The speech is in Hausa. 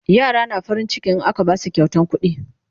yara na farin ciki in aka Basu kyautan kuɗi